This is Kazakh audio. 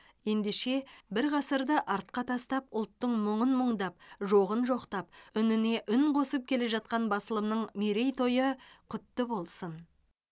ендеше бір ғасырды артқа тастап ұлттың мұңын мұңдап жоғын жоқтап үніне үн қосып келе жатқан басылымның мерейтойы құтты болсын